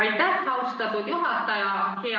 Aitäh, austatud juhataja!